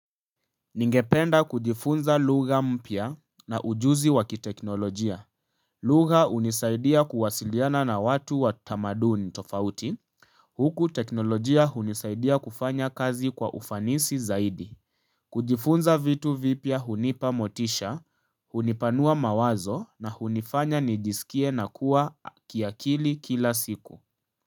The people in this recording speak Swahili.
Ningependa kujifunza lugha mpya na ujuzi wa kiteknolojia. Lugha hunisaidia kuwasiliana na watu wa tamaduni tofauti. Huku teknolojia unisaidia kufanya kazi kwa ufanisi zaidi. Kujifunza vitu vipya hunipa motisha, hunipanua mawazo na hunifanya nijisikie na kuwa kiakili kila siku.